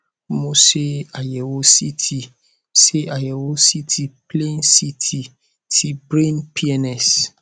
mo ṣe àyẹwò ct ṣe àyẹwò ct plain ct ti brain pns